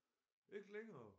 Ikke længere